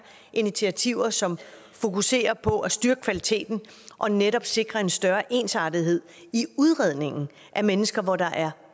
initiativer som fokuserer på at styrke kvaliteten og netop sikre en større ensartethed i udredningen af mennesker hvor der er